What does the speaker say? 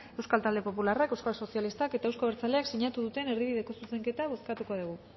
euskal talde popularrak euskal sozialistak eta eusko abertzaleak sinatu duten erdibideko zuzenketa bozkatuko dugu